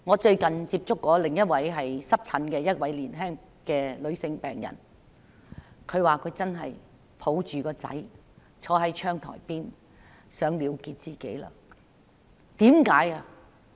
最近，我接觸過另一位患濕疹的年輕女病人，她說她抱着兒子坐在窗台邊時想了結自己。